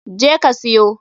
Je ka siyo!